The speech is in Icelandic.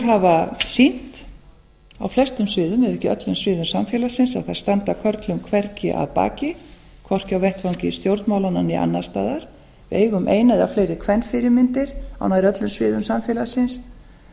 hafa sýnt á öllum sviðum ef ekki öllum sviðum samfélagsins að þær standa körlum hvergi að baki hvorki á vettvangi stjórnmálanna né annars staðar við eigum eina eða fleiri kvenfyrirmyndir á nær öllum sviðum samfélagsins